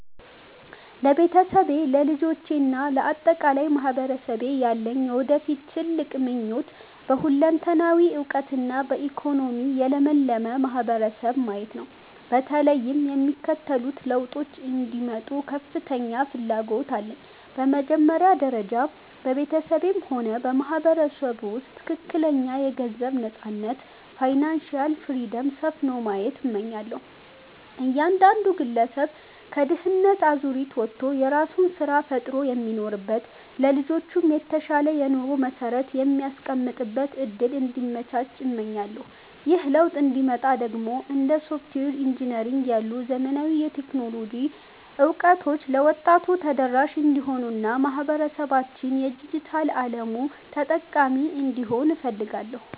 ለቤተሰቤ፣ ለልጆቼ እና ለአጠቃላይ ማህበረሰቤ ያለኝ የወደፊት ትልቁ ምኞት በሁለንተናዊ እውቀትና በኢኮኖሚ የለመለመ ማህበረሰብን ማየት ነው። በተለይም የሚከተሉት ለውጦች እንዲመጡ ከፍተኛ ፍላጎት አለኝ፦ በመጀመሪያ ደረጃ፣ በቤተሰቤም ሆነ በማህበረሰቡ ውስጥ ትክክለኛ የገንዘብ ነፃነት (Financial Freedom) ሰፍኖ ማየት እመኛለሁ። እያንዳንዱ ግለሰብ ከድህነት አዙሪት ወጥቶ የራሱን ስራ ፈጥሮ የሚኖርበት፣ ለልጆቹም የተሻለ የኑሮ መሰረት የሚያስቀምጥበት እድል እንዲመቻች እመኛለሁ። ይህ ለውጥ እንዲመጣ ደግሞ እንደ ሶፍትዌር ኢንጂነሪንግ ያሉ ዘመናዊ የቴክኖሎጂ እውቀቶች ለወጣቱ ተደራሽ እንዲሆኑና ማህበረሰባችን የዲጂታል አለሙ ተጠቃሚ እንዲሆን እፈልጋለሁ።